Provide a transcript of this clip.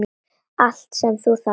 Allt sem þú þarft.